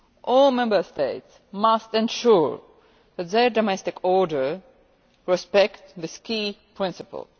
All Member States must ensure that their domestic order respects this key principle.